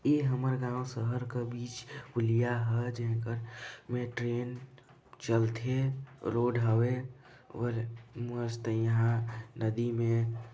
ए हमर गाँव शहर क बीच पुलिया ह जिन कर मे ट्रेन चलथे रोड हवे और मस्त यहाँ नदी में--